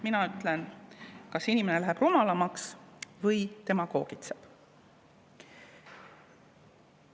Mina ütlen, et inimene on läinud kas rumalamaks või demagoogitseb.